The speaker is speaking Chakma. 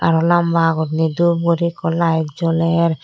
aro lamba guriney dhup guri ekku light joler.